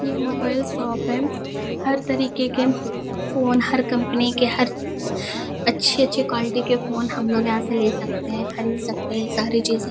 ये mobile shop है हर तरीके के फोन हर कंपनी के हर अछे-अछे क्वालिटी के फोन हम यहाँ से ले सकते है खरीद सकते हैं सारी चीजे ।